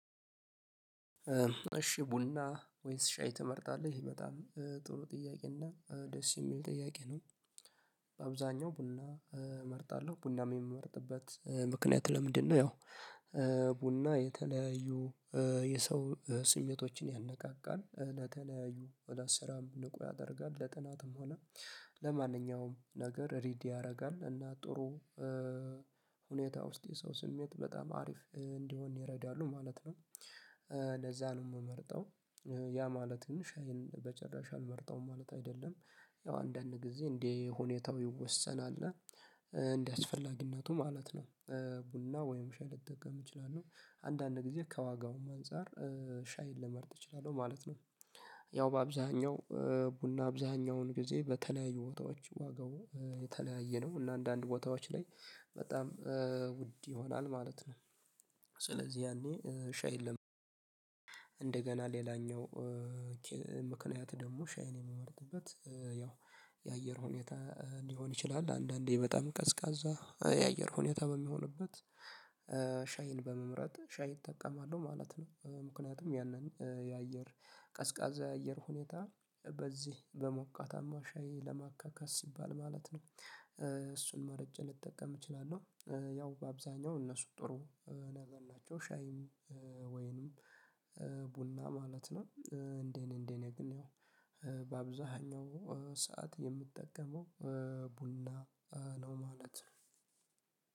እሺ ቡና ወይስ ሻይ ትመርጣለህ? በጣም ጥሩ ጥያቄ እና ደስ የሚል ጥያቄ ነው በአብዛኛው ቡና እመርጣለሁ ቡና የምመርጥበት ምክንያት ለምንድነው ያው ቡና የተለያዩ የሰው ስሜቶችን ያነቃቃል ለተለያዩ ወደ ስራም ንቁ ያደርጋል ለጥናትም ሆነ ለማንኛውም ነገር ሬዲ ያደርጋል እና ጥሩ ሁኔታ ውስጥ የሰው ስሜት በጣም አሪፍ እንዲሆን ይረዳሉ ማለት ነው ለዛ ነው የምመርጠው ያ ማለትም ሻይን በጭራሽ አልመርጠውም ማለት አይደለም ያው አንዳንድ ጊዜ እንዴ ሁኔታው ይወሰናል እና እንደየአስፈላጊነቱ ማለት ነው ቡና ወይም ሻይ ልጠቀም እችላለሁ አንዳንድ ጊዜ ከዋጋውም አንፃር ሻይን ልመርጥ እችላለሁ ማለት ነው ያው በአብዛኛው ቡና አብዛኛውን ጊዜ በተለያዩ ቦታዎች ዋጋው የተለያየ ነው እና አንዳንድ ቦታዎች ላይ በጣም ውድ ይሆናል ማለት ነው ስለዚህ ያኔ ሻይ የለም ሌላኛው ምክንያት ደግሞ ሻይን የሚመርጥበት ያው የአየር ሁኔታ ሊሆን ይችላል አንዳንዴ በጣም ቀዝቃዛ የአየር ሁኔታ በሚሆንበት ሻይን በመምረጥ ሻይ እጠቀማለሁ ማለት ነው ምክንያቱም ያንን የአየር ቀዝቃዛ የአየር ሁኔታ በዚህ በሞቃታማ ሻይ ለማካካስ ሲባል ማለት ነው እሱን መርጬ ልጠቀም እችላለሁ ያው በአብዛኛው እነሱ ጥሩ ነገር ናቸው ሻይም ወይንም ቡና ማለት ነው እንዴት እንዴት ነው ግን ያው በአብዛኛው ሰዓት የምጠቀመው ቡና ነው ማለት ነው